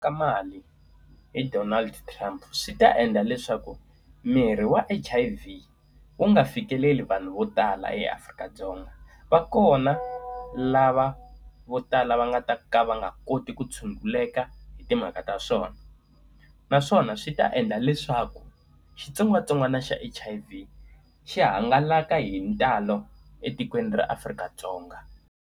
Ka mali hi Donald Trump swi ta endla leswaku mirhi ya H_I_V wu nga fikeleli vanhu vo tala eAfrika-Dzonga. Va kona lava vo tala va nga ta ku a va nga koti ku tshunguleka hi timhaka ta swona naswona swi ta endla leswaku xitsongwatsongwana xa H_I_V xi hangalaka hi ntalo etikweni ra Afrika-Dzonga.